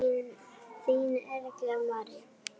Þín, Erla María.